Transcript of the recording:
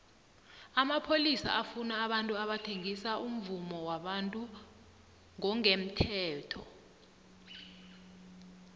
amapholisa afuna abantu abathengisa umvumo wabantu ngongemthetho